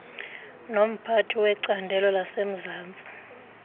nomphathi wecandelo lasemzantsi